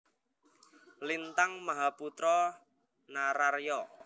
Lintanag Mahaputra Nararya